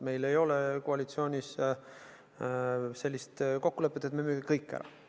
Meil ei ole koalitsioonis sellist kokkulepet, et me müüme kõik ära.